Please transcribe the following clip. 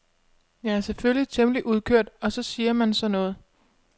Jeg er selvfølgelig temmelig udkørt og så siger man sådan noget.